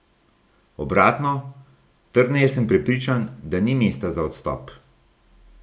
Obratno, trdneje sem prepričan, da ni mesta za odstop.